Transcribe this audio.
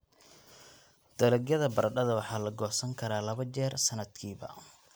Dalagyada baradhada waxaa la goosan karaa laba jeer sanadkiiba.